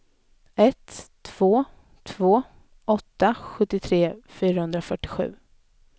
ett tre två åtta sjuttiotre sjuhundrafyrtiosju